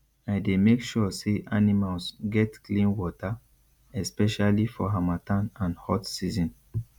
i dey make sure say animals get clean water especially for harmattan and hot season